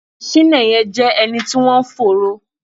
Chinenye jẹ́ ẹni tí wọ́n ń fòòró